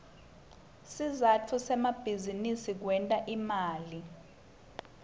sizatfu semabizinisi kwenta imali